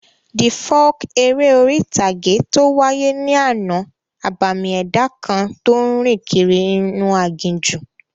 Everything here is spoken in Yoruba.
The folk eré orí-ìtàgé tó wáyé ní àná, abàmì ẹ̀dá kan tó n rìn kiri inú aginjù